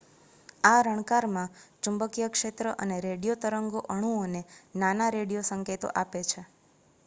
આ રણકારમાં ચુંબકીય ક્ષેત્ર અને રેડિયો તરંગો અણુઓને નાના રેડિયો સંકેતો આપે છે